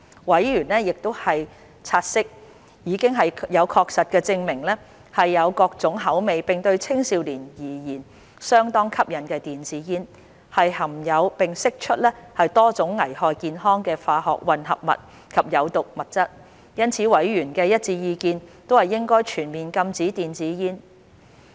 委員察悉，已有確實證據證明有各種口味並對青少年而言相當吸引的電子煙，含有並釋出多種會危害健康的化學混合物及有毒物質，因此委員的一致意見是應全面禁止電子煙。